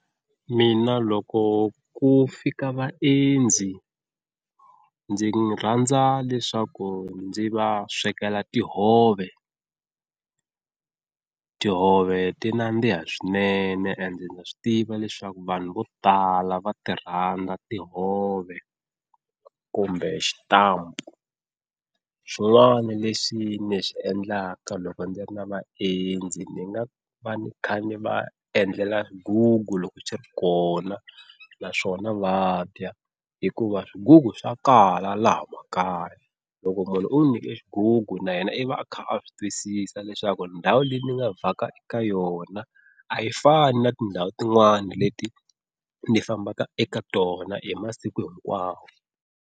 Mina loko ku fika vaendzi ndzi rhandza leswaku ndzi va swekela tihove, tihove ti nandziha swinene ende ndza swi tiva leswaku vanhu vo tala va ti rhandza tihove kumbe xitampa. Xin'wana lexi ni xi endlaka loko ndzi ri na vaendzi ni nga va ni kha ni va endlela xigugu loko xi ri kona naswona va dya hikuva swigugu swa kala laha makaya, loko munhu u n'wi nyike xigugu na yena i va a kha a swi twisisa leswaku ndhawu leyi ni nga vhaka eka yona a yi fani na tindhawu tin'wani leti ni fambaka eka tona hi masiku hinkwawo.